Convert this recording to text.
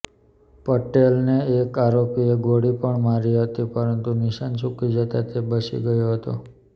પટેલને એક આરોપીએ ગોળી પણ મારી હતી પરંતુ નિશાન ચૂકી જતા તે બચી ગયો હતો